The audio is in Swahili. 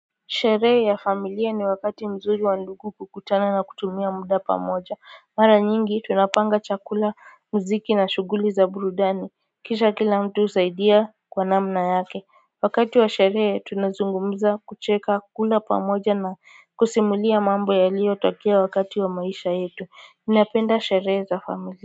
Sherehe ya familia ni wakati mzuri wa ndugu kukutana na kutumia muda pamoja mara nyingi tunapanga chakula mziki na shuguli za burudani kisha kila mtu husaidia kwa namna yake wakati wa sherehe tunazungumuza kucheka kula pamoja na kusimulia mambo yalio tokea wakati wa maisha yetu napenda sherehe za familia.